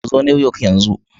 Ku zo Newyork yanzu.